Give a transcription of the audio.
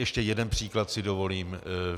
Ještě jeden příklad si dovolím.